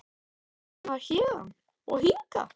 Hvernig fer maður héðan. og hingað??